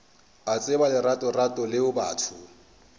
a tseba leratorato leo batho